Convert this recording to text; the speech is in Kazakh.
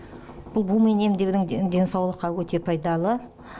бұл бумен емдеудің денсаулыққа өте пайдалы